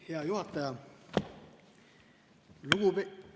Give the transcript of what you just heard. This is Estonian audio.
Hea juhataja!